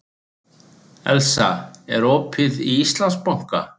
Elsa, er opið í Íslandsbanka?